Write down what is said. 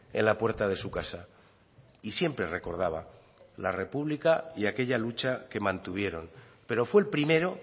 en la puerta de su casa y siempre recordaba la república y aquella lucha que mantuvieron pero fue el primero